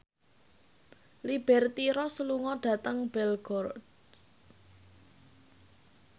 Liberty Ross lunga dhateng Belgorod